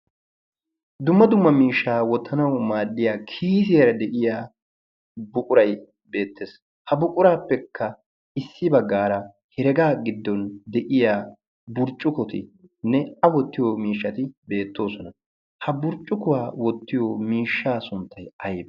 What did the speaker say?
Dumma dumma miishshaa wottanawu maaddiyaa kiisiyaara de'iyaa buquray beettees. ha buquraappekka issi baggaara heregaa giddon de'iyaa burccukuti nne a woottiyoo miishshay beettoosona. ha burccukuwaa wottiyoo miishshaa sunttay aybee?